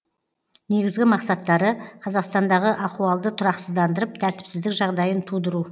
негізгі мақсаттары қазақстандағы ахуалды тұрақсыздандырып тәртіпсіздік жағдайын тудыру